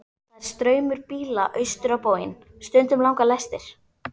Það er straumur bíla austur á bóginn, stundum langar lestir.